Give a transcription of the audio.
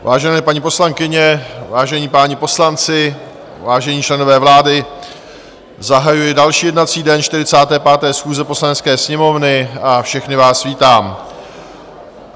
Vážené paní poslankyně, vážení páni poslanci, vážení členové vlády, zahajuji další jednací den 45. schůze Poslanecké sněmovny a všechny vás vítám.